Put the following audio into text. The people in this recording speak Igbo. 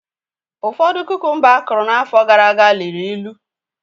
Ụfọdụ kukumba akụrụ n'afọ gara aga liri ịlụ